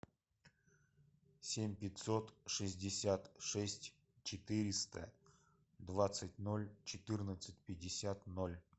семь пятьсот шестьдесят шесть четыреста двадцать ноль четырнадцать пятьдесят ноль